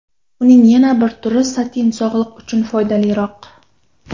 Uning yana bir turi satin sog‘liq uchun foydaliroq.